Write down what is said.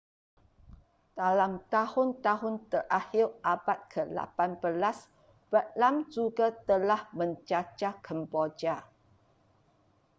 dalam tahun-tahun terakhir abad ke-18 vietnam juga telah menjajah kemboja